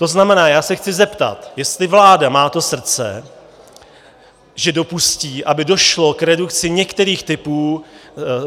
To znamená, já se chci zeptat, jestli vláda má to srdce, že dopustí, aby došlo k redukci některých typů